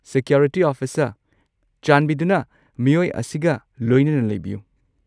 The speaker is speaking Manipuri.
ꯁꯤꯀ꯭ꯌꯣꯔꯤꯇꯤ ꯑꯣꯐꯤꯁꯔ, ꯆꯥꯟꯕꯤꯗꯨꯅ ꯃꯤꯑꯣꯏ ꯑꯁꯤꯒ ꯂꯣꯏꯅꯅ ꯂꯩꯕꯤꯌꯨ꯫